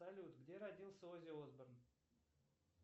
салют где родился оззи осборн